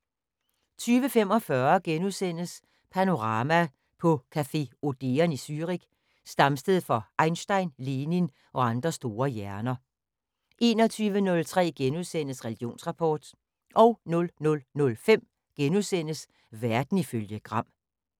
20:45: Panorama: På café Odeon i Zürich, stamsted for Einstein, Lenin og andre store hjerner * 21:03: Religionsrapport * 00:05: Verden ifølge Gram *